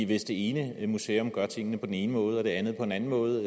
hvis det ene museum gør tingene på den ene måde og det andet på en anden måde